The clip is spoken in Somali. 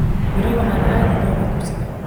Berri waxaan aadi doonaa dugsiga